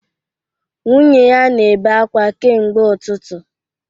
Nwunye ya na-ebe akwa kemgbe ụtụtụ